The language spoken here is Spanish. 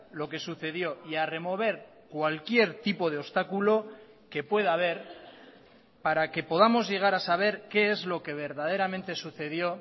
lo que sucedió y a remover cualquier tipo de obstáculo que pueda haber para que podamos llegar a saber qué es lo que verdaderamente sucedió